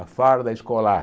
A farda escolar.